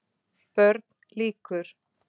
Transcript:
BÖRN LÝKUR